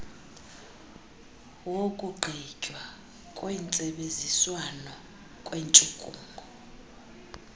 wokugqitywa kwentsebenziswano kwentshukumo